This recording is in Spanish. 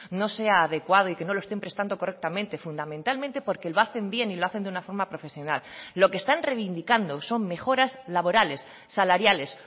no sea adecuado y que no lo estén prestando correctamente fundamentalmente porque lo hacen bien y lo hacen de una forma profesional lo que están reivindicando son mejoras laborales salariales